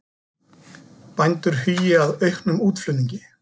Bændur hugi að auknum útflutningi